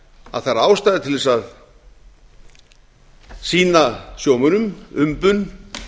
að það er ástæða til þess að sýna sjómönnum umbun